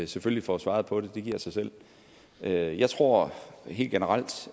selvfølgelig får svaret på det det giver sig selv jeg jeg tror helt generelt